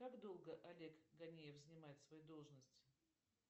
как долго олег ганеев занимает свою должность